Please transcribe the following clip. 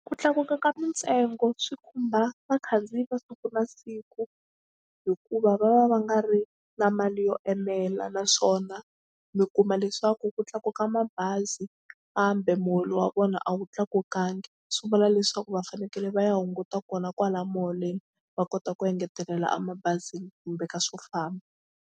Ku tlakuka ka mintsengo swi khumba vakhandziyi va siku na siku hikuva va va va nga ri na mali yo enela naswona mi kuma leswaku ku tlakuka mabazi kambe muholo wa vona a wu tlakukangi swi vula leswaku va fanekele va ya hunguta kona kwala muholweni va kota ku engetelela a mabazini kumbe ka swo famba.